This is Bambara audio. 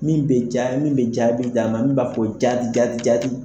Min be ja min be jaabi d'an ma. Min b'a fɔ jati jati jati.